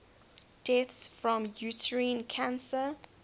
deaths from uterine cancer